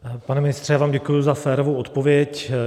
Pane ministře, já vám děkuji za férovou odpověď.